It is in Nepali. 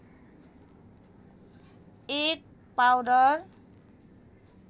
एक पाउडर